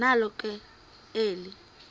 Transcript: nalo ke eli